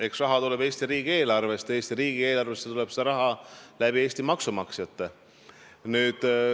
Eks raha tuleb Eesti riigieelarvest ja Eesti riigieelarvesse tuleb see raha Eesti maksumaksjatelt.